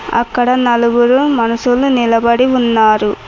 అక్కడ నలుగురు మనుషులు నిలబడి ఉన్నారు.